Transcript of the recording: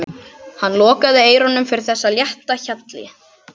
Hann lokaði eyrunum fyrir þessu létta hjali.